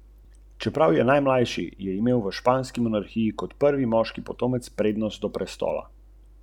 Napad na Zimski dvorec, križarka Avrora.